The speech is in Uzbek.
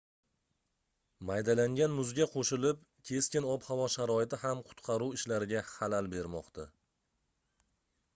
maydalangan muzga qoʻshilib keskin ob-havo sharoiti ham qutqaruv ishlariga xalal bermoqda